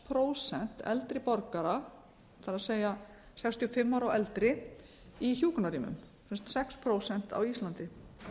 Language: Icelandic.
prósent eldri borgara það er sextíu og fimm ára og eldri í hjúkrunarrýmum sex prósent á íslandi